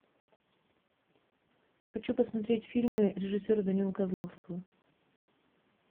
хочу посмотреть фильмы режиссера данилы козловского